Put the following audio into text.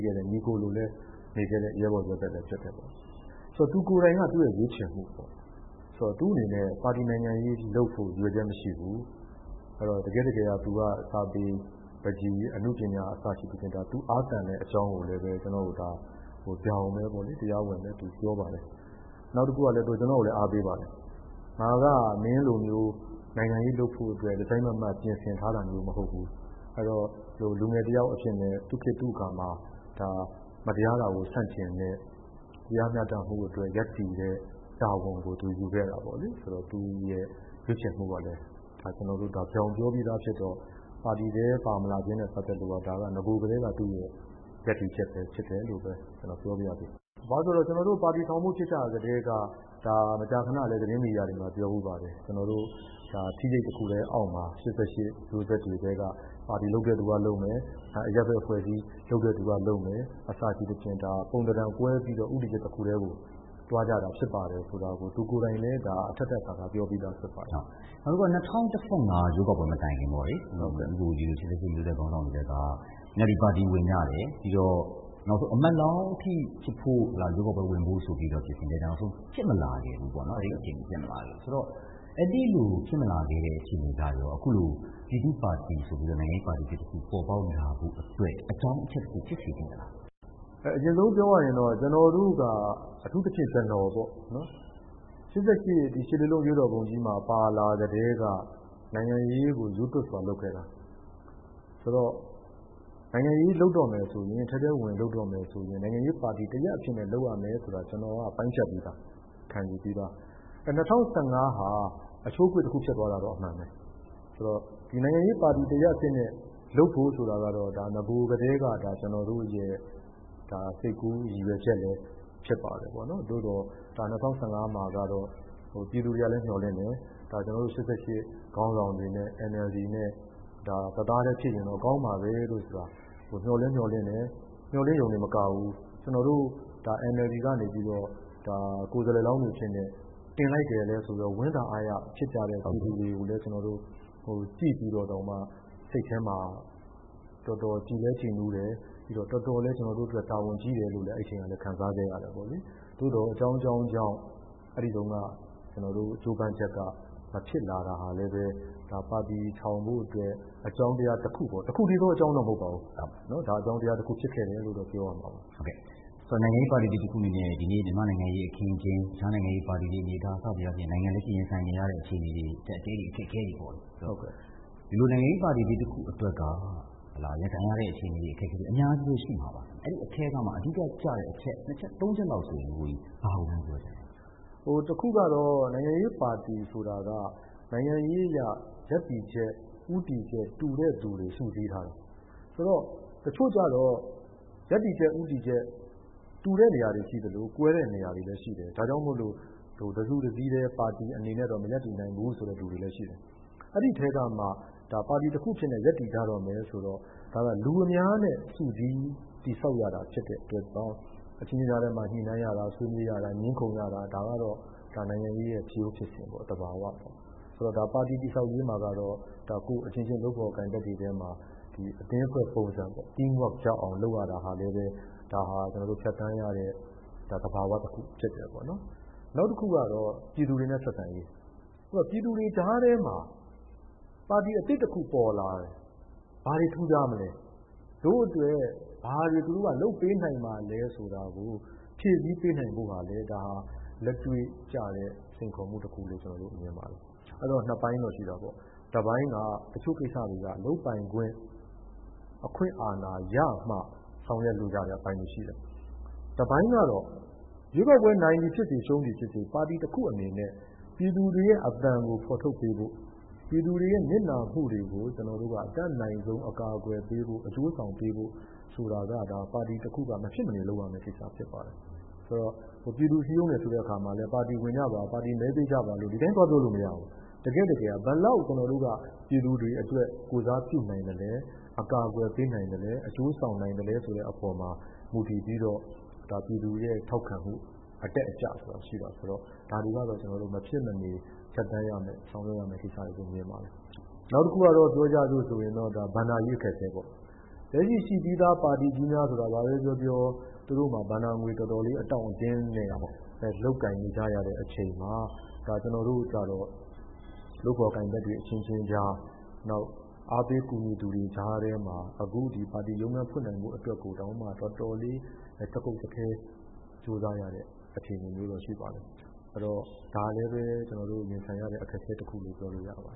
ခဲ့တဲ့ ညီအကိုလိုလည်း နေခဲ့တဲ့ ရဲဘော်ရဲဘက်လည်းဖြစ်ပါတယ်။ သူကိုယ်တိုင်က သူ့ရွေးချယ်မှုပေါ့နော်။ ဆိုတော့ သူ့အနေနဲ့ ပါတီ နိုင်ငံရေးလုပ်ဖို့ ရည်ရွယ်ချက်မရှိဘူး။ သူက ပန်းချီအနှပညာအစရှိသဖြင့် သူအားသန်တဲ့ အကြောင်းကိုလည်း ကျနော့်ကို တရားဝင်ပြောပါတယ်။ နောက်တခုကလည်း သူ ကျနော့်ကိုအားပေးပါတယ်။ ငါက မင်းလိုမျိုး နိုင်ငံရေးလုပ်ဖို့ တစိုက်မတ်မတ်ပြင်ဆင်ထားတာမဟုတ်ဘူး။ အဲဒီတော့ လူငယ်တယောက်အဖြစ်နဲ့ သူ့ခေတ် သူ့အခါမှာ မတရားတာကို ဆန့်ကျန်တဲ့ တရားမျှတမှုအတွက် ရပ်တည်တဲ့ တာဝန်ကို သူယူခဲ့တာပေါ့လေ။ သူ့ရွေးချယ်မှုကလည်း ကျနော်တို့ဒါ ပြောပြီးသားဖြစ်တော့ ပါတီထဲပါမလာခြင်းဖြစ်တော့ နဂိုကတည်းက သူ့ရပ်တည်ချက်ပဲဖြစ်တယ်လို့ ပြောပါရစေ။ ဘာဖြစ်လို့လဲဆိုတော့ ကျနော်တို့ ပါတီထောင်ဖို့ ဖြစ်ကတည်းက မကြာခဏလည်း သတင်းမီဒီယာမှာပြောဖူးပါတယ်။ ကျနော်တို့ ထီးရိပ်တခုအောက်မှာ ၈၈ မျိုးဆက်တွေထဲက ပါတီလုပ်သူကလုပ်မယ်၊ အရပ်ဖက်အဖွဲ့အစည်းလုပ်သူကလုပ်မယ်၊ အစရှိသဖြင့် ပုံသဏ္ဍာန်ကွဲပြီးတော့ ဦးတည်ချက်တခုတည်းကို သွားကြတာဖြစ်တယ်ဆိုတာကို သူကိုယ်တိုင်လည်း အထပ်ထပ်အခါခါပြောပြီးသားဖြစ်ပါတယ်။ နောက်တခုက ၂၀၁၅ ရွေးကောက်ပွဲမတိုင်ခင် ဦးကိုကိုကြီးတို့ ၈၈ မျိုးဆက် ခေါင်းဆောင်တွေထဲက NLD ပါတီဝင်ကြတယ်။ နောက်ဆုံးအမတ်လောင်းအထိ ဖြစ်ဖို့ဆိုပြီးတော့ ပြင်ဆင်ခဲ့တယ် နောက်ဆုံးဖြစ်မလာဘူးပေါ့နော်။ အဲဒီလိုဖြစ်မလာခဲ့တဲ့ အခြေအနေကနေ အခုလို ပြည်သူ့ပါတီဆိုပြီးတော့ နိုင်ငံရေးပါတီအသစ်တခု ပေါ်ပေါက်လာဖို့အတွက် အကြောင်းအချက်တခု ဖြစ်စေခဲ့လား။ အရင်ဆုံးပြောရရင်တော့ ကျနေ်ာတို့က အထူးသဖြင့်ကျနော်ပေါ့နော် ၈လေးလုံးအရေးတော်ပုံကြီးမှာ ပါလာကတည်းက နိုင်ငံရေးကို ရူးသွပ်စွာလုပ်ခဲ့တာ ဆိုတော့ ထဲထဲဝင်ဝင် နိုင်ငံရေးလုပ်တော့မယ်ဆိုရင် နိုင်ငံရေးပါတီ တရပ်အနေနဲ့ လုပ်ရမယ်ဆိုတာ ကျနော်က ပိုင်းဖြတ်ပြီးသား ခံယူပြီးသား ။ ၂၀၁၅ဟာ အချိုးအကွေ့တခုဖြစ်သွားတာတော့ အမှန်ပဲ ဆိုတော့ ဒီနိုင်ငံရေးပါတီ တရပ်အဖြစ်နဲ့ လုပ်ဖို့ဆိုတာတော့ နဂိုကတည်းက ကျနော်တို့ စိတ်ကူး ရည်ရွယ်ချက်လည်းဖြစ်ပါတယ်။ သို့သော် ၂၀၁၅ မှာက ပြည်သူတွေလည်းမျှော်လင့်တယ်။ ၈၈ ခေါင်းဆောင်တွေနဲ့ NLD နဲ့ တသားတည်းဖြစ်ရင်ကောင်းမှာပဲ ဆိုတာ မျှော်လည်းမျှော်လင့်တယ်။မျှော်လင့်တာတင်မကဘူး NLD ကနေပြီးတော့ ကိုယ်စားလှယ်လောင်အဖြစ်နဲ့ တင်လိုက်တယ်ဆိုရော ဝမ်းသာ အားရဖြစ်တဲ့ ပြည်သူတွေကိုလည်း ကျေျနာ်တို့ ကြည့်ပြီးတော့ ကျနော်တို့ စိတ်ထဲမှာ တော်တော် ကြည်လည်းကြည်နူးတယ်။ တော်တော်လည်း တာဝန်ကြီးတယ်လို့ အဲဒီအချိန်က ခံစားခဲ့ရပါတယ်။ သို့သေည် အကြောင်းကြောင်းကြောင့် အဲဒီတုန်းက ကြိုးပမ်းချက်က မဖြစ်လာတာကလည်း ပါတီထောင်ဖို့အတွက် အကြောင်းတရားတခုပေါ့ တခုတည်းသော အကြောင်းတရားကတော့ မဟုတ်ပါဘူး။ အကြောင်းတရားတခုဖြစ်ခဲ့တယ်လို့ ပြောရမှာပါ။ နိုင်ငံရေးပါတီသစ်တခု အနေနဲ့ ဒီကနေ့ မြန်မာ့နိုင်ငံရေးအခင်းအကျင်း၊ တခြားနိုင်ငံရေးပါတီအနေအထား လက်ရှိရင်ဆိုင်နေရတဲ့ နိုင်ငံရေးအကျပ်အတည်းတွေပေါ့။ ဒီလိုနိုင်ငံရေးပါတီသစ်တခု အတွက်က ရင်ဆိုင်နေရတဲ့အခြေအနေ အခက်အခဲတွေ အများကြီးရှိမှာပါ။ အဲဒီအထဲကမှ အဓိက ကျတဲ့ အချက် ၂ ချက် ၃ ချက်လောက်ဆိုရင် ဘာကိုများပြောချင်သလဲ။ အခုကတော့ နိုင်ငံရေးပါတီဆိုတာက နိုင်ငံရေးအရ ရပ်တည်ချက် ဦးတည်ချက် တူတဲ့ သူတွေ စုစည်းထားတာ။ တချို့ကတော့ ရပ်တည်ချက် ဦးတည်ချက် တူတဲ့နေရာတွေရှိသလို ကွဲတဲ့နေရာတွေလည်းရှိတယ်။ ဒါကြောင့် တစုတစည်းထဲ ပါတီအနေနဲ့ မရပ်တည်နိုင်ဘူးဆိုတဲ့ လူတွေလည်းရှိတယ်။ အဲဒီအထဲကမှ ပါတီတခုအဖြစ်နဲ့ ရပ်တည်မယ်ဆိုရင် လူအများနဲ့ စုစည်းတည်ဆောက်ရတာဖြစ်တဲ့အတွက် အချင်းချင်းကြားထဲမှာ ညှိနှိုင်းဆွေးနွေးရတာ ၊ ငြင်းခုံရတာကတော့ နိုင်ငံရေးရဲ့ ဖြစ်ရိုးဖြစ်စဉ်ပါပဲ။ ဆိုတော့ ပါတီတည်ဆောက်ရေးမှာ ကိုယ့်အချင်းချင်း လုပ်ဖော်ကိုင်ဖက်တွေကြားမှာ အသင်းအဖွဲ့ပုံစံရအောင် လုပ်ရတာလည်း ကျနော်တို့ ဖြတ်သန်းရတဲ့ သဘာ၀ တခုဖြစ်တယ်။ နောက်တခုကတော့ ပြည်သူတွေနဲ့ ဆက်ဆံရေး။ ပြည်သူတွေကြားထဲမှာ ပါတီအသစ်တခုပေါ်လာတယ် ဘာတွေထူးခြားမလဲ တို့အတွက် ဘာတွေ သူတို့ လုပ်ပေးနိုင်မှာလဲ ဆိုတာကို ဖြည့်ဆည်းပေးနိုင်ဖို့ဆိုတာလည်း လက်တွေ့ကျတဲ့ စိန်ခေါ်မှုလို့မြင်ပါတယ်။ အဲဒီတော့ ၂ ပိုင်းတော့ရှိတာပေါ့။ တပိုင်းက တချို့ကိစ္စတွေက လုပ်ပိုင်ခွင့် အခွင့်အာဏာရမှ ဆောင်ရွက်လို့ ရတဲ့အပိုင်းတွေရှိတယ်။ တပိုင်းကတော့ ရွေးကောက်ပွဲ နိုင်သည်ဖြစ်စေ ရှုံးသည်ဖြစ်စေ ပါတီ တခုအနေနဲ့ ပြည်သူ့အသံကို ဖော်ထုတ်ပေးဖို့ ပြည်သူတွေရဲ့ နစ်နာမှုတွေကို အတက်နိုင်ဆုံးအကာအကွယ်ပေးဖို့ အကျိုးဆောင်ပေးဖို့ဆိုတာက ပါတီတခုက မဖြစ်မနေ လုပ်ရမယ့်ကိစ္စဖြစ်ပါတယ်။ ပြည်သူတွေကို စည်းရုံးတယ်ဆိုတာကလည်း ပါတီဝင်ကြပါ၊ မဲပေးကြပါ လို့ စည်းရုံးလို့မရဘူး။ တကယ့်တကယ်က ဘယ်လောက်ကျနော်တို့ ပြည်သူတွေအတွက် ကိုယ်စားပြုနိုင်သလဲ အကာအကွယ်ပေးနိုင်သလဲ၊ အကျိုးဆောင်နိုင်သလဲ ဆိုတဲ့အပေါ်မှာ မူတည်ပြီးတော့ ပြည်သူရဲ့ ထောက်ခံမှု အတက်အကျဆိုတာရှိတယ် အဲဒီတော့ ဒါတွေကတော့ မဖြစ်မနေ ဖြတ်သန်းရမယ့် ဆောင်ရွက်ရမယ့် ကိစ္စလို့ မြင်တယ်။ နောက်တခုကတော့ ဘဏ္ဍာရေးအခက်အခဲပေါ့။ လက်ရှိရှိပြီးသား ပါတီကြီးများဆိုတာက ဘာပဲပြောပြော သူတို့မှာ ဘဏ္ဍာငွေအတောင့်အတင်းနဲ့ လုပ်ကိုင်နေတဲ့အချိန်မှာ ကျနော်တို့ကျတော့ လုပ်ဖော်ကိုင်ဖက်တွေအချင်းချင်းကြား၊ အားပေးကူညီသူတွေကြား ထဲမှာ အခု ပါတီ ရုံးခန်းဖွင့်နိုင်အောင်အတွက်တောင်မှ တော်တော်လေး ကြိုးစားရတဲ့ အခြေအနေမျိုးရှိပါတယ်။ ဒါနဲ့ ကျနော်တို့ ရင်ဆိုင်ရတဲ့ အခက်အခဲတခုလို့ ပြောလို့ရပါ